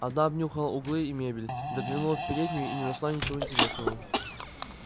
она обнюхала углы и мебель заглянула в переднюю и не нашла ничего интересного